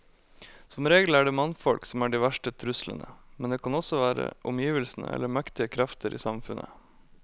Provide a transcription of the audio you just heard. Som regel er det mannfolk som er de verste truslene, men det kan også være omgivelsene eller mektige krefter i samfunnet.